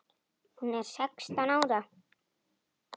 Hún er sextán ára.